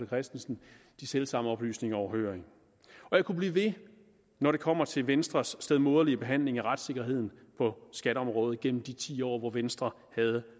christensen de selv samme oplysninger overhørig og jeg kunne blive ved når det kommer til venstres stedmoderlige behandling af retssikkerheden på skatteområdet gennem de ti år hvor venstre havde